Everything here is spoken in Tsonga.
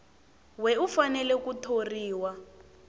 we u fanele ku thoriwa